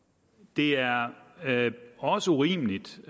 det er også urimeligt